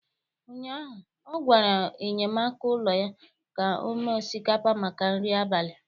ụnyaahụ, ọ gwara enyemaka ụlọ ya ka o mee osikapa maka nri abalị.